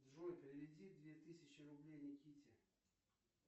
джой переведи две тысячи рублей никите